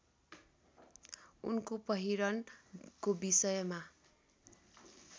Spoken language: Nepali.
उनको पहिरनको विषयमा